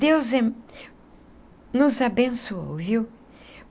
Deus nos abençoou, viu?